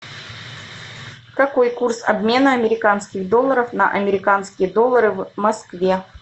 какой курс обмена американских долларов на американские доллары в москве